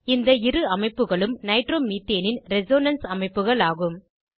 இந்த இரு அமைப்புகளும் நைட்ரோமீத்தேனின் ரெசோனன்ஸ் அமைப்புகள் ஆகும்